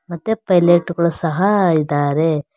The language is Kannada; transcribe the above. ಮತ್ತೆ ಪೈಲೆಟ್ ಗಳು ಸಹ ಇದ್ದಾರೆ.